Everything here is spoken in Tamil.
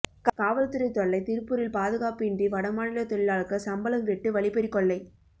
காவல்துறைத் தொல்லை திருப்பூரில் பாதுகாப்பு இன்றி வடமாநிலத் தொழிலாளர்கள் சம்பளம் வெட்டு வழிப்பறிக் கொள்ளை